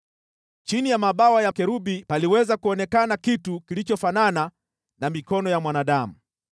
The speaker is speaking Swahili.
(Chini ya mabawa ya makerubi paliweza kuonekana kitu kilichofanana na mikono ya mwanadamu.)